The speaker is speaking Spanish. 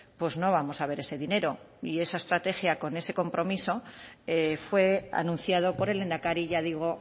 pues no vamos a ver ese dinero y esa estrategia con ese compromiso fue anunciado por el lehendakari ya digo